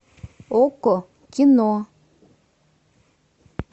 окко кино